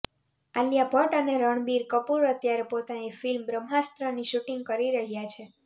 આલિયા ભટ્ટ અને રણબીર કપૂર અત્યારે પોતાની ફિલ્મ બ્રહ્માસ્ત્રની શૂટિંગ કરી રહ્યાં છે